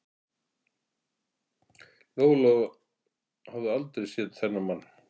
Lóa Lóa hafði aldrei séð þennan mann.